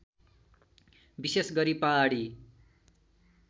विशेष गरी पहाडी